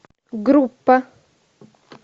группа